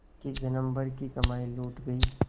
कि जन्म भर की कमाई लुट गयी